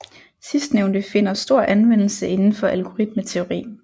Sidstnævnte finder stor anvendelse inden for algoritmeteori